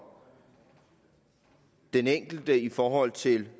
den enkelte i forhold til